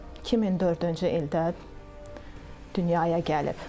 2004-cü ildə dünyaya gəlib.